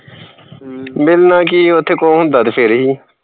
ਮਿਲਣਾ ਕੀ ਉਥੇ ਕੁਹ ਹੁੰਦਾ ਤੇ ਫਿਰ ਹੀ